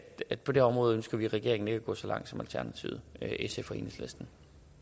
at på det område ønsker vi i regeringen ikke at gå så langt som alternativet sf og enhedslisten